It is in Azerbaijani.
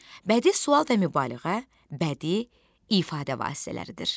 Bədii sual və mübaliğə bədii ifadə vasitələridir.